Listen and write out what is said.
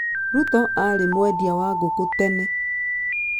Ruto aarĩ mwendia wa ngũkũ tene.